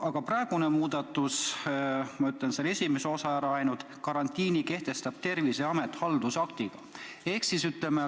Aga muudatuse esimene osa ütleb, et karantiini kehtestab Terviseamet haldusaktiga.